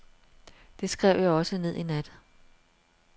Det skrev jeg også ned i nat.